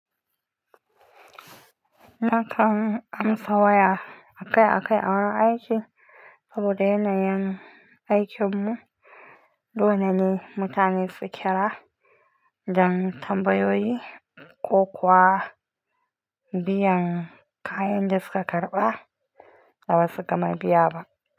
Nakan amsa waya akai-akai a wurin aiki saboda yanayin aikinmu, dole ne mutane su kira don tambayoyi ko kuwa biyan kayan da suka karɓa da ba su gama biya ba.